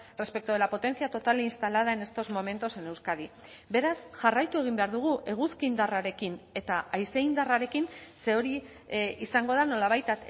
respecto de la potencia total instalada en estos momentos en euskadi beraz jarraitu egin behar dugu eguzki indarrarekin eta haize indarrarekin ze hori izango da nolabait